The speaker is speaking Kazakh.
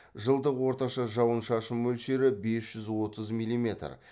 жылдық орташа жауын шашын мөлшері бес жүз отыз миллиметр